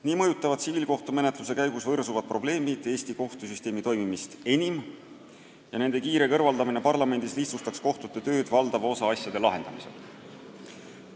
Nii mõjutavad tsiviilkohtumenetluse käigus võrsuvad probleemid Eesti kohtusüsteemi toimimist enim ja nende kiire kõrvaldamine parlamendis lihtsustaks kohtute tööd valdava osa asjade lahendamisel.